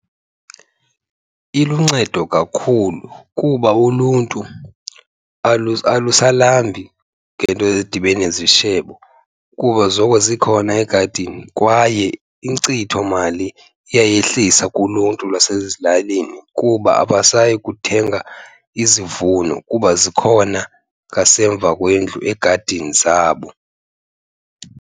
Iluncedo kakhulu kuba uluntu alusalambi ngento edibene nezishebo kuba zoko zikhona egadini kwaye inkcithomali iyayehlisa kuluntu lwasezilalini kuba abasayi kuthenga izivuno kuba zikhona ngasemva kwendlu egadini zabo.